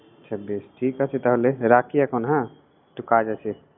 আচ্ছা বেশ ঠিক আছে তাহলে, রাখি এখন হ্যাঁ। একটু কাজ আছে।